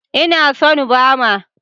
Ina son Bama.